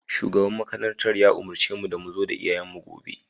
Shugaban makarantar ya umurce mu da mu zo da iyayenmu gobe